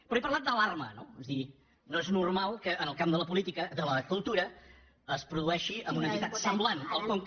però he parlat d’alarma és a dir no és normal que en el camp de la política de la cultura es produeixin en una entitat semblant al conca